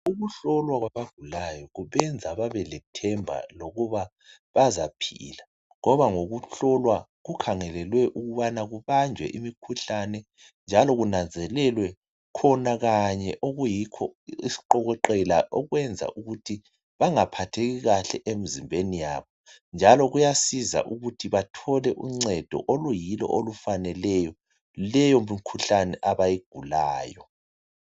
Ukuhlolwa kwabagulayo kubenza babe lethemba lokuba bazaphila ngoba ngokuhlolwa kukhangelelwe ukubana kubanjwe imikhuhlane . Njalo kunanzelelwe khona kanye okuyikho isiqokoqela okwenza ukuthi bangaphatheki kahle emzimbeni yabo .Njalo kuyasiza ukuthi bathole uncedo oluyilo okufaneleyo leyo mikhuhlane abayigulayo.